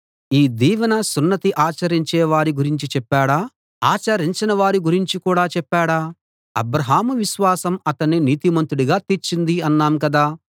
ఈ దీవెన సున్నతి ఆచరించే వారి గురించి చెప్పాడా ఆచరించని వారి గురించి కూడా చెప్పాడా అబ్రాహాము విశ్వాసం అతణ్ణి నీతిమంతుడుగా తీర్చింది అన్నాం కదా